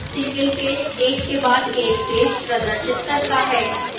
single page एक के बाद एक पेज प्रदर्शित करता है